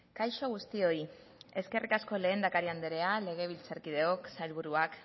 kaixo guztioi eskerrik asko lehendakari andrea legebiltzarkideok sailburuak